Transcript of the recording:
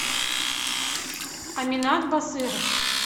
аминат басыров